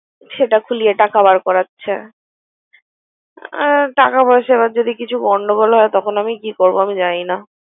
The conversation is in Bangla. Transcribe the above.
সেটা খুলিয়ে টাকা বের করাচ্ছে হম টাকা পয়সা এরকম যদি কোন গন্ডগোল হয় তখন আমি কি করব? আমি জানি না।